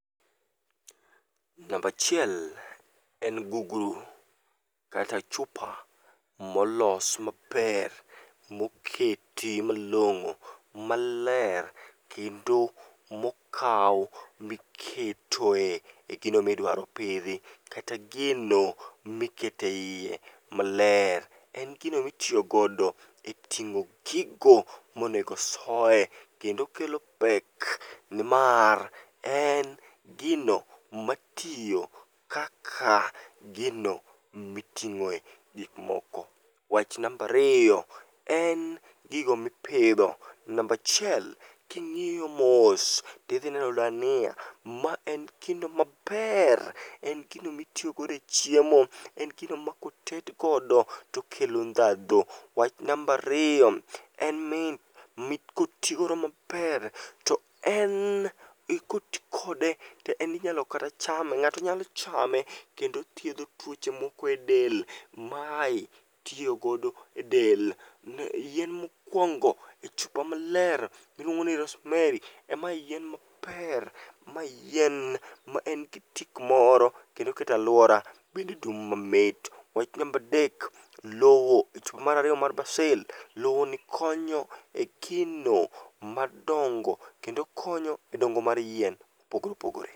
Namba achiel en guguru kata chupa molos maber moketi malong'o maler kendo mokaw miketoe e gino midwaro pidhi. Kata gino mikete iye maler. En gino mitiyo godo e ting'o gigo monego soye, kendo kelo pek nimar en gino matiyo kaka gino miting'oe gikmoko. Wach namba ariyo, en gigo mipidho. Namba achiel, king'iyo mos, tidhineno dania, ma en gino maber, en gino mitiyo godo e chiemo. En gino ma koted godo, tokelo ndhadhu. Wach namba ariyo, en ni mit kotigodo maber, to en koti kode, inyalo kata chame. Ng'ato nyalo chame. Kendo othiedho tuoche moko e del. Mae itiyo godo e del. Yien mokwongo ,iluongo ni Rosemary. Mae yien maber ,mae yien ma en gi tik moro kendo keto alwora bende dum mamit. Wach namba adek, lowo mar ariyo mar Basil, lowoni konyo e gino madongo kendo konyo e dongo mar yien mopogore opogore.